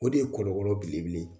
O de ye kɔlɔkɔlɔ belebele ye